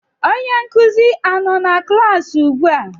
Onye nkuzi a nọ na klaasị ugbua?